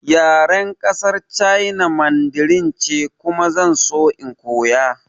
Yaren ƙasar China Mandarin ce kuma zan so in koya